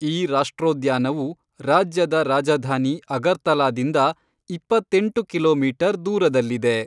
ಈ ರಾಷ್ಟ್ರೋದ್ಯಾನವು ರಾಜ್ಯದ ರಾಜಧಾನಿ ಅಗರ್ತಲಾದಿಂದ ಇಪ್ಪತ್ತೆಂಟು ಕಿಲೋಮೀಟರ್ ದೂರದಲ್ಲಿದೆ.